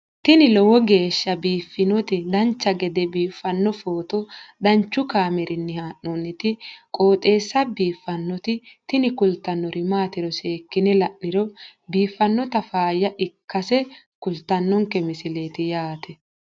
tini lowo geeshsha biiffannoti dancha gede biiffanno footo danchu kaameerinni haa'noonniti qooxeessa biiffannoti tini kultannori maatiro seekkine la'niro biiffannota faayya ikkase kultannoke misileeti yaate